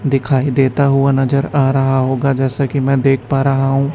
दिखाई देता हुआ नजर आ रहा होगा जैसा कि मैं देख पा रहा हूं--